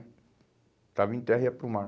Estava em terra e ia para o mar.